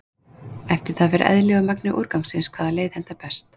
Fer það eftir eðli og magni úrgangsins hvaða leið hentar best.